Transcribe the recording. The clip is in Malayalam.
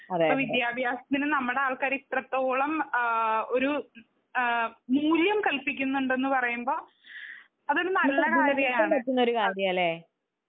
വിത്യഭ്യസത്തിനു നമ്മുടെ ആൾക്കാര് ഇത്രത്തോളം ആ ഒരു ആ മൂല്യം കൽപിക്കുന്നുണ്ടന്ന് പറയുമ്പോൾ അതൊരു നല്ല കാര്യമാണ്.